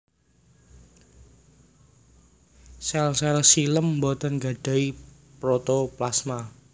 Sèl sèl xilèm botén gadahi protoplasma